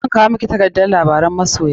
Zan kwao miki takardar labaran masoya.